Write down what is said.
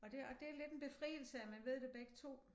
Og det og det lidt en befrielse at man ved det begge 2